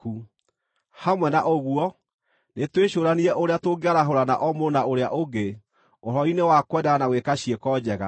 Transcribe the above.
Hamwe na ũguo, nĩtwĩcũũranie ũrĩa tũngĩarahũrana o mũndũ na ũrĩa ũngĩ ũhoro-inĩ wa kwendana na gwĩka ciĩko njega.